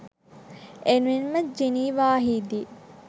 එමෙන්ම ජිනීවාහිදී